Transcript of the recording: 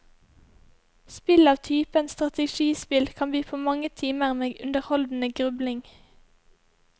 Spill av typen strategispill kan by på mange timer med underholdende grubling.